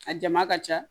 A jama ka ca